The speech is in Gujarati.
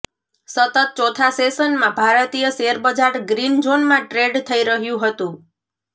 સતત ચોથા સેશનમાં ભારતીય શેરબજાર ગ્રીન ઝોનમાં ટ્રેડ થઈ રહ્યું હતું